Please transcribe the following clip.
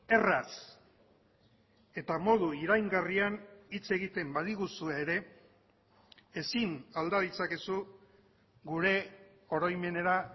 erraz eta modu iraingarrian hitz egiten badiguzue ere ezin alda ditzakezu gure oroimenera